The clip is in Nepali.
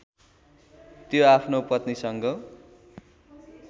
त्यो आफ्नो पत्नीसँग